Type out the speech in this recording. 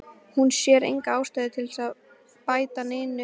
Hún sér enga ástæðu til að bæta neinu við kveðjuna.